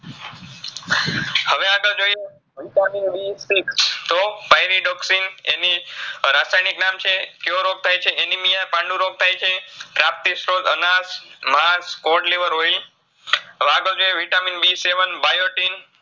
VitaminBSIX તો pyridoxine એની રાસાયનીક નામ છે. ક્યો રોગ થાયછે anemia પાંડુરોગ થાયછે, પ્રાપ્તિસ્ત્રોત અનાસ, માસ હવે આ ત છે VitaminBSEVENBiotin